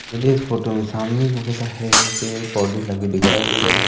मुझे इस फोटो में सामने की ओर हरे भरे पेड़ पौधे लगे दिखाई दे रहे है।